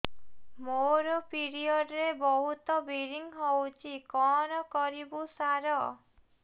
ମୋର ପିରିଅଡ଼ ରେ ବହୁତ ବ୍ଲିଡ଼ିଙ୍ଗ ହଉଚି କଣ କରିବୁ ସାର